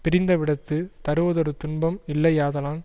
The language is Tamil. பிரிந்தவிடத்துத் தருவதொரு துன்பம் இல்லையாதலான்